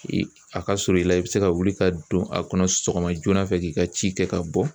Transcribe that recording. A ka surun i la i bɛ se ka wuli ka don a kɔnɔ sɔgɔma joona fɛ k'i ka ci kɛ ka bɔ.